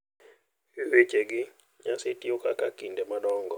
E wechegi, nyasi tiyo kaka kinde madongo